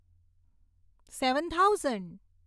seven thousand